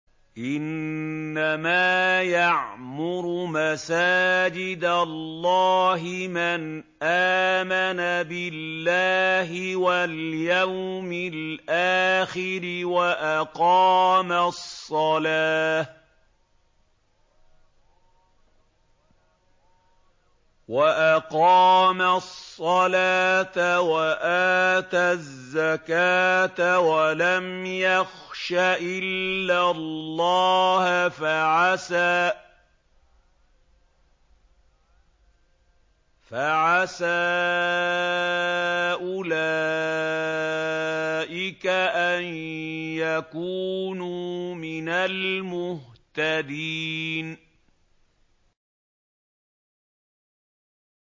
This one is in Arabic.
إِنَّمَا يَعْمُرُ مَسَاجِدَ اللَّهِ مَنْ آمَنَ بِاللَّهِ وَالْيَوْمِ الْآخِرِ وَأَقَامَ الصَّلَاةَ وَآتَى الزَّكَاةَ وَلَمْ يَخْشَ إِلَّا اللَّهَ ۖ فَعَسَىٰ أُولَٰئِكَ أَن يَكُونُوا مِنَ الْمُهْتَدِينَ